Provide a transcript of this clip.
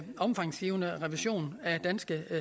omfangsrige revision af danske